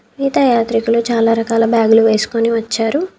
తీర్థ యాత్రికులు చాలా రకాల బ్యాగులు వేసుకొని వచ్చారు.